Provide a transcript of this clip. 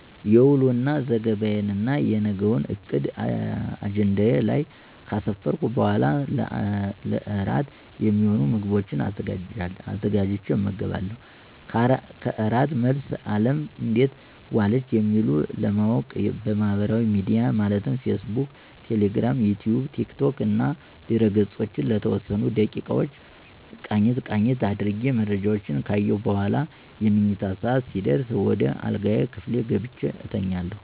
የውሎ ዘገባና የነገውን ዕቅድ አጀንዳዬ ላይ ከአሰፈርሁ በኋላ ለእራት የሚሆኑ ምግቦችን አዘጋጅቸ እመገባለሁ። ከእራት መልስ አለም እንዴት ዋለች የሚለውን ለማዎቅ ማህበራዊ ሚዲያን ማለትም ፌስ ቡክ፣ ቴሌግራም፣ ዩትዩብ፣ ቲክቶክ ያሉ ድህረ-ገፆችን ለተወሰኑ ደቂቃዎች ቃኘት ቃኘት አድርጌ መረጃዎችን ከአየሁ በኋላ የመኝታ ሰዓት ሲደርስ ወደ አልጋ ክፍሌ ገብቸ እተኛለሁ።